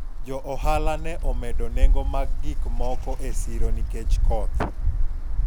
jo ohala ne omedo nengo mag gik moko e siro nikech koth